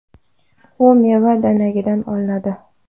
U meva danagidan olinadi.